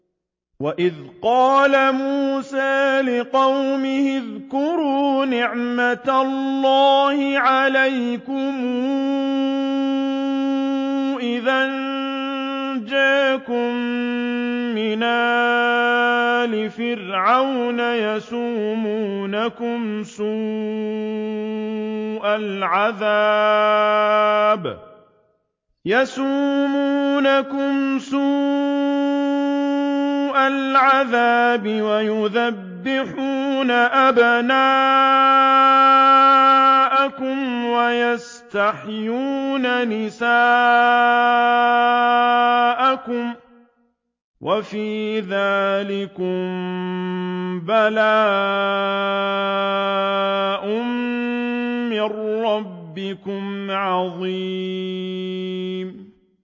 وَإِذْ قَالَ مُوسَىٰ لِقَوْمِهِ اذْكُرُوا نِعْمَةَ اللَّهِ عَلَيْكُمْ إِذْ أَنجَاكُم مِّنْ آلِ فِرْعَوْنَ يَسُومُونَكُمْ سُوءَ الْعَذَابِ وَيُذَبِّحُونَ أَبْنَاءَكُمْ وَيَسْتَحْيُونَ نِسَاءَكُمْ ۚ وَفِي ذَٰلِكُم بَلَاءٌ مِّن رَّبِّكُمْ عَظِيمٌ